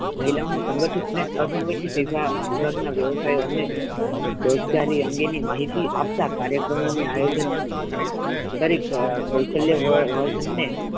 મહિલાઓ ના સંઘઠિત અને અસંગઠિત વિભાગ ના વ્યવસાયો ને રોજગારી અંગે ની માહિતી આપતા કાર્યક્રમો ની આયોજક કરી કૌશલ્ય વર્ગ ને,